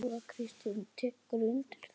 Þóra Kristín tekur undir það.